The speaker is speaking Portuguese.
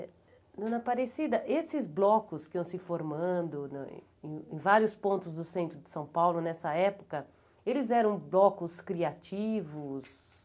Dona Aparecida, esses blocos que iam se formando na em vários pontos do centro de São Paulo nessa época, eles eram blocos criativos?